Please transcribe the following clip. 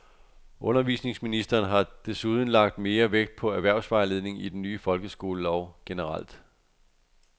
Undervisningsministeren har desuden lagt mere vægt på erhvervsvejledning i den nye folkeskolelov generelt.